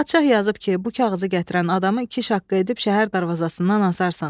Padşah yazıb ki, bu kağızı gətirən adamı iki şaqqa edib şəhər darvazasından asarsan.